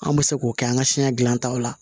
An bɛ se k'o kɛ an ka siɲɛ dilantaw la